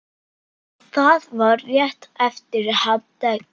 Það var rétt eftir hádegi.